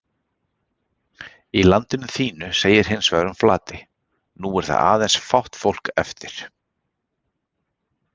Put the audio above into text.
Í Landinu þínu segir hins vegar um Flatey: nú er þar aðeins fátt fólk eftir